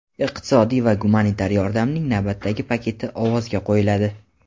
iqtisodiy va gumanitar yordamning navbatdagi paketi ovozga qo‘yiladi.